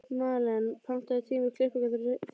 Malen, pantaðu tíma í klippingu á þriðjudaginn.